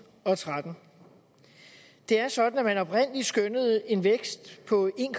og tretten det er sådan at man oprindelig skønnede en vækst på en